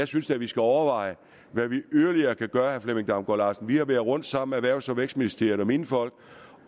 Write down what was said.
synes vi skal overveje hvad vi yderligere kan gøre vil jeg damgaard larsen vi har været rundt sammen erhvervs og vækstministeriet og mine folk